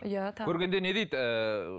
иә көргенде не дейді ыыы